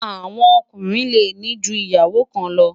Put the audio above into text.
àwọn Ọkùnrin lè ní jù ìyàwó kàn lo